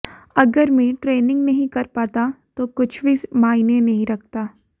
अगर मैं ट्रेनिंग नहीं कर पाता तो कुछ भी मायने नहीं रखता